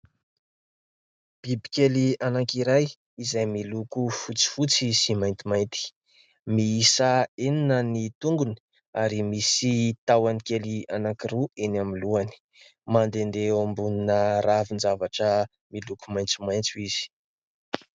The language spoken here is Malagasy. Biby kely anankiray izay miloko fotsifotsy sy maintimainty, miisa enina ny tongony ary misy tahony kely anankiroa eny amin'ny lohany. Mandehandeha eo ambonina ravin-javatra miloko maitsomaitso izy.